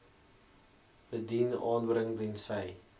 bedien aanbring tensy